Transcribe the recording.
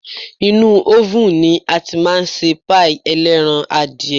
Inúú ófùn ni a tí máa ń ṣe páì ẹlẹ́ran-adìyẹ.